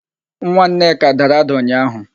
Nwa Nneka dara ada ụnyaahụ.